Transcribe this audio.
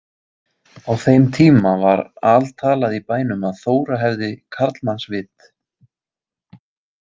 Á þeim tíma var altalað í bænum að Þóra hefði karlmannsvit.